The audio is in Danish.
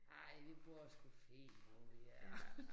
Ej vi bor sgu fint hvor vi er